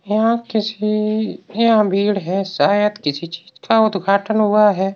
यहां किसी यहां भीड़ है शायद किसी चीज़ का उद्घाटन हुआ है।